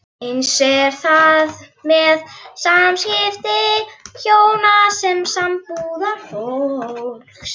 Eins er það með samskipti hjóna og sambúðarfólks.